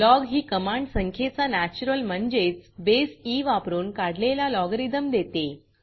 log ही command संख्येचा natural म्हणजेच बसे ई वापरून काढलेला लॉगरिथम देते